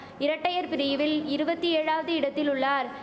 இரட்டையர் பிரிவில் இருவத்தி ஏழாவது இடத்திலுள்ளார்